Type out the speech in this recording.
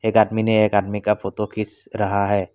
एक आदमी ने एक आदमी का फोटो खींच रहा है।